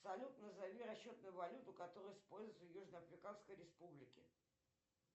салют назови расчетную валюту которую используют в южно африканской республике